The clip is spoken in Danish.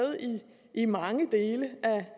i mange dele